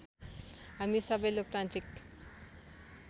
हामी सबै लोकतान्त्रिक